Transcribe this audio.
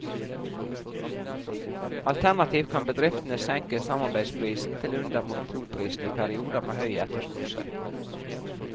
Alternativt kan bedriftene senke samarbeidsprisen til under monopolprisen i perioden med høy etterspørsel.